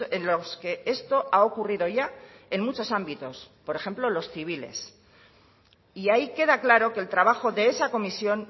en los que esto ha ocurrido ya en muchos ámbitos por ejemplo los civiles y ahí queda claro que el trabajo de esa comisión